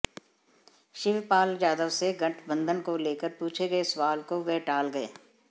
शिवपाल यादव से गठबंधन को लेकर पूछे गए सवाल को वह टाल गए